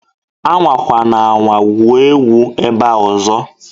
Anwakwana anwa gwuo egwu ebea ọzọ!